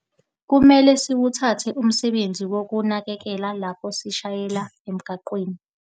Kumele siwuthathe umsebenzi wokunakekela lapho sishayela emgwaqweni.